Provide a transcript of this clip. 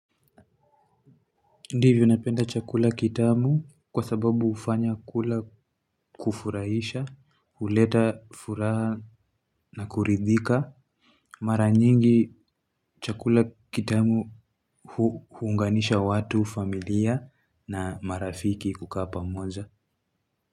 Ndivyo napenda chakula kitamu kwa sababu hufanya kula kufurahisha, huleta furaha na kuridhika. Mara nyingi chakula kitamu huunganisha watu, familia na marafiki kukaa pamoja.